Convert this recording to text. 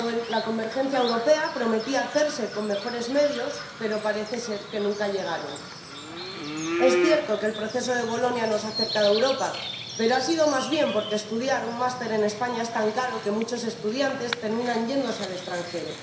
La convergencia europea prometía hacerse con mejores medios, pero parece ser que nunca llegaron. Es cierto que el Proceso de Bolonia nos ha acercado a Europa, pero ha sido más bien porque estudiar un máster en España es tan caro que muchos estudiantes terminan yéndose al extranjero.